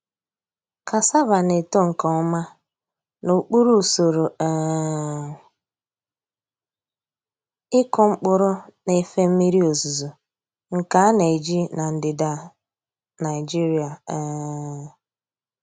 Cassava na-eto nke ọma n’okpuru usoro um ịkụ mkpụrụ na-efe mmiri ozuzo nke a na-eji na ndịda Nigeria. um